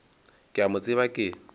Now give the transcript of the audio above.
ke a mo tseba ke